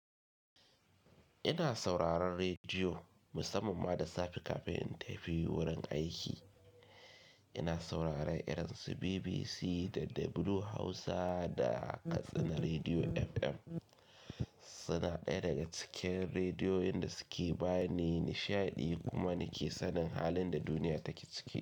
Ina sauraron rediyo musamman ma da safe kafin in tafi wurin aiki. Ina sauraron irin su BBC da Doubleu Hausa da Katsina Rediyo FM. Suna ɗaya daga cikin rediyoyin da suke ba ni nishaɗi kuma nake sanin halin da duniya take ciki.